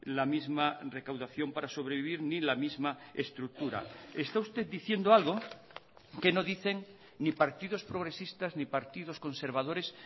la misma recaudación para sobrevivir ni la misma estructura está usted diciendo algo que no dicen ni partidos progresistas ni partidos conservadores